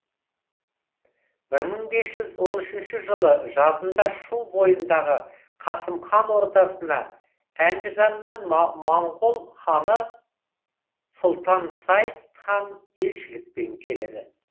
бір мың бес жүз он үшінші жылы жазында шу бойындағы қасым хан ордасына әндіжаннан моңғол ханы сұлтан сайд хан елшілікпен келеді